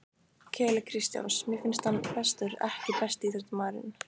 Keli Kristjáns mér finnst hann bestur EKKI besti íþróttafréttamaðurinn?